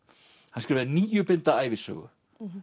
hann skrifaði níu binda ævisögu